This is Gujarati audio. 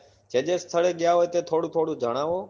જે જે સ્થળે ગયા હો ત્યાં થોડું થોડું જણાવો